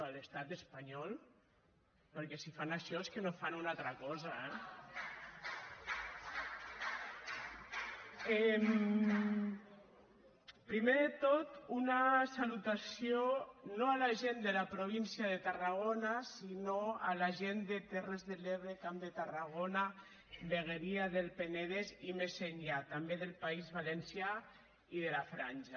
a l’estat espanyol perquè si fan això és que no fan una altra cosa eh primer de tot una salutació no a la gent de la província de tarragona sinó a la gent de terres de l’ebre camp de tarragona vegueria del penedès i més enllà també del país valencià i de la franja